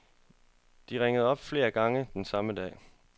De ringede op flere gange den samme dag.